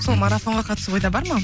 сол марафонға қатысу ойда бар ма